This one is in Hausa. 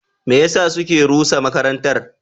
Me yasa suke rusa makarantar?